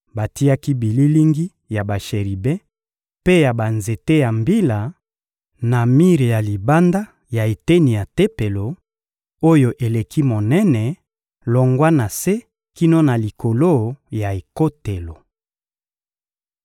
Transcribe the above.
Batiaki bililingi ya basheribe mpe ya banzete ya mbila na mir ya libanda ya eteni ya Tempelo, oyo eleki monene, longwa na se kino na likolo ya ekotelo.